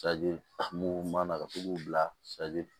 na ka to k'o bila